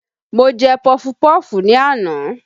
Mo jẹ pọfupọ́ọ̀fù ni àná